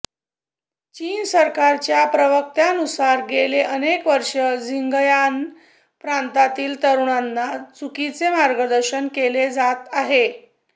चीन सरकारच्या प्रवक्त्यानुसार गेले अनेक वर्षे झिंगयांन प्रांतातील तरुणांना चुकीचे मार्गदर्शन केले जात आहे